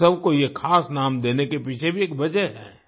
उत्सव को ये खास नाम देने के पीछे भी एक वजह है